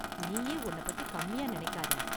நீயே உன்ன பத்தி கம்மியா நினைக்காத.